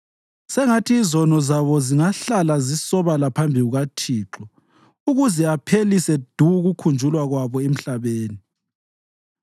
Sengathi izono zabo zingahlala zisobala phambi kukaThixo, ukuze aphelise du ukukhunjulwa kwabo emhlabeni.